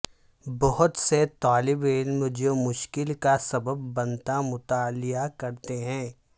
بہت سے طالب علم جو مشکل کا سبب بنتا مطالعہ کرتے ہیں